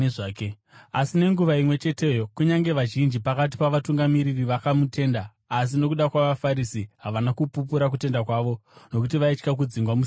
Asi nenguva imwe cheteyo kunyange vazhinji pakati pavatungamiri vakamutenda. Asi nokuda kwavaFarisi, havana kupupura kutenda kwavo nokuti vaitya kudzingwa musinagoge;